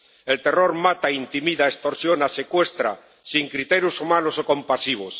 El terror mata, intimida, extorsiona, secuestra, sin criterios humanos o compasivos.